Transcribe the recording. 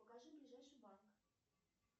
покажи ближайший банк